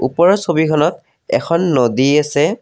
ওপৰৰ ছবিখনত এখন নদী আছে।